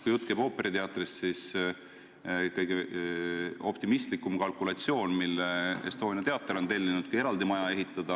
Estonia teater on tellinud kalkulatsiooni, kui palju läheks maksma ooperiteater, kui eraldi maja ehitada.